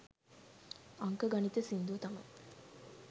අංක ගණිත සින්දුව තමයි